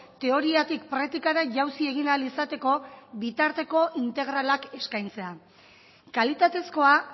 teoriatik praktikara jausi egin ahal izateko bitarteko integralak eskaintzea kalitatezkoa